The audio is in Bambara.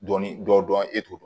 Dɔnni dɔ dɔn e t'o dɔn